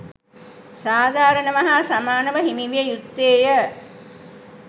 සාධාරණව හා සමානව හිමිවිය යුත්තේය.